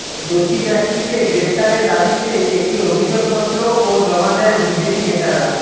দোষী ব্যক্তিকে গ্ৰেফতারের দাবিতে একটি অভিযোগপত্র ও জমা দেন বিজেপি নেতারা